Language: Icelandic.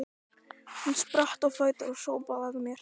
Hún spratt á fætur og hrópaði að mér